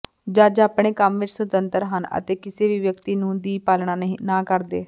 ਜੱਜ ਆਪਣੇ ਕੰਮ ਵਿਚ ਸੁਤੰਤਰ ਹਨ ਅਤੇ ਕਿਸੇ ਵੀ ਵਿਅਕਤੀ ਨੂੰ ਦੀ ਪਾਲਣਾ ਨਾ ਕਰਦੇ